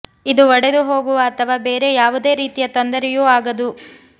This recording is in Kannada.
ಇದು ಒಡೆದು ಹೋಗುವ ಅಥವಾ ಬೇರೆ ಯಾವುದೇ ರೀತಿಯ ತೊಂದರೆಯೂ ಆಗದು